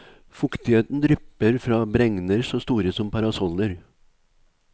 Fuktigheten drypper fra bregner så store som parasoller.